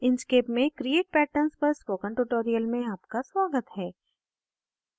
inkscape में create patterns पर spoken tutorial में आपका स्वागत है